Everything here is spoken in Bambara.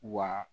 Wa